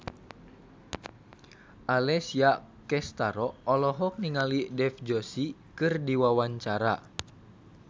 Alessia Cestaro olohok ningali Dev Joshi keur diwawancara